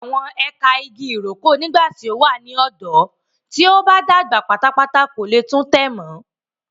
Ge awọn ẹka ìgi ìrókò nígbàtí o wa ni ọdọ, tí o ba dàgbà pátápátá ko le tun tẹ mọ.